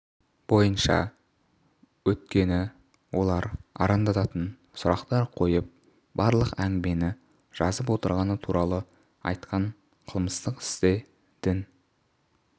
бойынша өткені олар арандататын сұрақтар қойып барлық әңгімені жазып отырғаны туралы айтқан қылмыстық істе дін